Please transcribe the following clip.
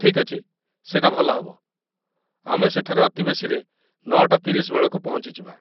ଠିକ୍‌ ଅଛି, ସେଇଟା ଭଲ ହେବ, ଆମେ ସେଠାରେ ଅତିବେଶୀରେ ୯ଟା ୩୦ ବେଳକୁ ପହଞ୍ଚିଯିବା।